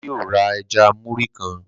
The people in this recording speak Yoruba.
Bàbá yóò rá ẹja Muri kán.